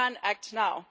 We can act now.